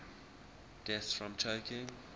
deaths from choking